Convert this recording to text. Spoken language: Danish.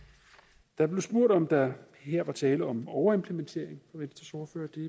der blev spurgt om der her er tale om en overimplementering det